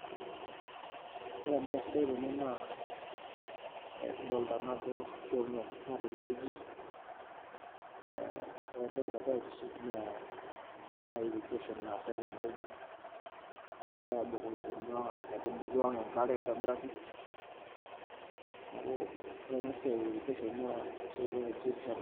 Ore embaye sidai tene naa kidolta naa ajo keuno mpuka tenewueji naa ore entoki nagira aitiship naa ena irrigation naasitai tenewueji egirai aabukoki kuna aitubulu enkare aitobiraki, neeku ore ena siai e [cs[irrigation naa esiai naitishipisho oleng'.